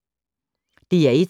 DR1